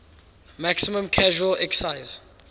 maximum casual excise